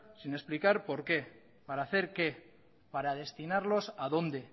sin explicar por qué para hacer qué para destinarlos a dónde